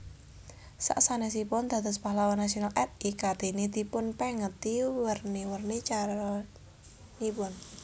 Sasanèsipun dados Pahlawan Nasional R I Kartini dipunpèngeti werni werni caranipun